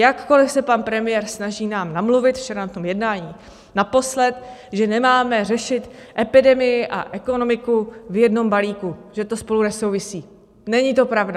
Jakkoliv se pan premiér snaží nám namluvit, včera na tom jednání naposled, že nemáme řešit epidemii a ekonomiku v jednom balíku, že to spolu nesouvisí - není to pravda.